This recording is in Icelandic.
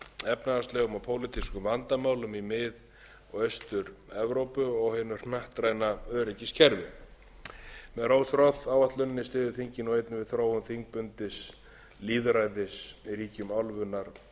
efnahagslegum og pólitískum vandamálum í mið og austur evrópu og hinu hnattræna öryggiskerfi með rose roth áætluninni styður þingið nú einnig við þróun þingbundins lýðræðis í ríkjum álfunnar og